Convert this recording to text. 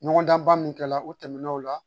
Ɲɔgɔndan min kɛla u tɛmɛn'o la